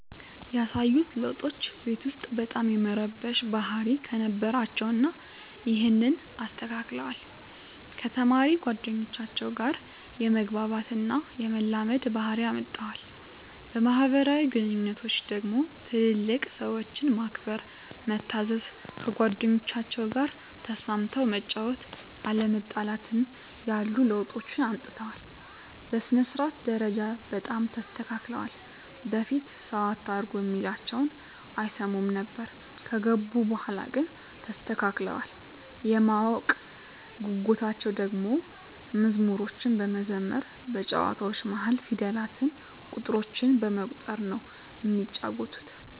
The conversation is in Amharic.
ያሳዩት ለዉጦች ቤት ዉስጥ በጣም የመረበሽ ባህሪ ነበራቸዉ እና ይሀንን አስተካክለዋል፣ ከተማሪ ጓደኞቻቸዉ ጋ የመግባባት እና የመላመድ ባህሪ አምጠዋል። በማህበራዊ ግንኙነቶች ደግሞ ትልልቅ ሰዎችን ማክበር፣ መታዘዝ፣ ከጓደኞቻቸዉ ጋ ተስማምተህ መጫወት፣ አለመጣላትን ያሉ ለዉጦችን አምጥተዋል። በሥነ-ስርዓት ደረጃ በጣም ተስተካክለዋል በፊት ሰዉ አታርጉ እሚላቸዉን አይሰሙም ነበር ከገቡ በኋላ ግን ተስተካክለዋል። የማወቅ ጉጉታቸዉ ደሞ መዝሙሮችን በመዘመር በጨዋታዎች መሀል ፊደላትን፣ ቁጥሮችን በመቁጠር ነዉ እሚጫወቱት።